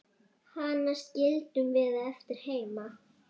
Hana skildum við eftir heima.